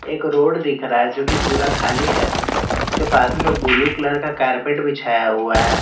एक रोड दिख रहा है जो कि पूरा खाली है उसके पास में ब्लू कलर का कारपेट बिछाया हुआ है।